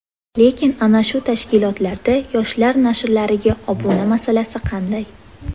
Lekin ana shu tashkilotlarda yoshlar nashrlariga obuna masalasi qanday?